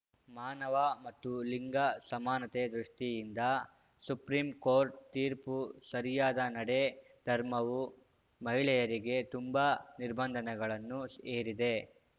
ಮಾನವ ಮತ್ತು ಲಿಂಗ ಸಮಾನತೆ ದೃಷ್ಟಿಯಿಂದ ಸುಪ್ರೀಂಕೋರ್ಟ್‌ ತೀರ್ಪು ಸರಿಯಾದ ನಡೆ ಧರ್ಮವು ಮಹಿಳೆಯರಿಗೆ ತುಂಬಾ ನಿರ್ಬಂಧನಗಳನ್ನು ಹೇರಿದೆ